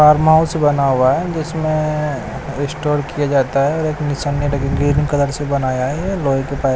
farm house बना हुआ है जिसमें स्टोर किया जाता है और एक निशानी लगी ग्रीन कलर से बनाया है लोहे के पा--